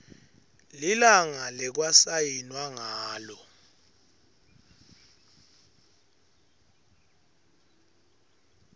lilanga lekwasayinwa ngalo